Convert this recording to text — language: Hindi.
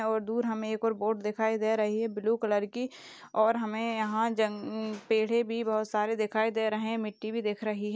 और दूर हमे एक और बोट दिखाई दे रही है ब्लू कलर की और हमे यहाँ जंग- पेड़े भी बहुत सारे दिखाई दे रहे है मिट्ठी भी दिख रही है।